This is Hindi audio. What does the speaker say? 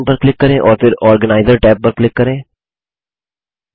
न्यू ऑप्शन पर क्लिक करें और फिर आर्गेनाइजर टैब पर क्लिक करें